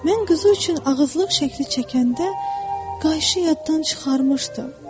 Mən quzu üçün ağızlıq şəkli çəkəndə qayışı yaddan çıxarmışdım.